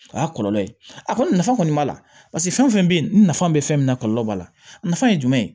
O y'a kɔlɔlɔ ye a kɔni nafa kɔni b'a la paseke fɛn fɛn bɛ yen nafa bɛ fɛn min na kɔlɔlɔ b'a la a nafa ye jumɛn ye